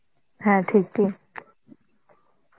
হ্যাঁ ঠিক ঠিক.